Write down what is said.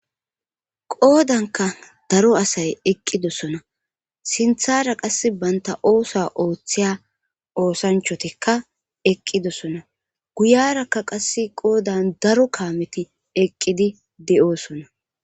Qoodanka daro asay eqqidosona sinthara qass banta oosa ooththiya oosanchotikka eqqidosona guyarakka qass qoodan daro kaameti eqqidi de7oosona